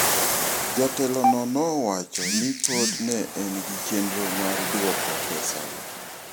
Jatelono nowacho ni pod ne en gi chenro mar duoko pesago.